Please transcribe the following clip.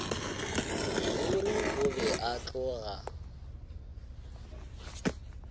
ruri o be a tloga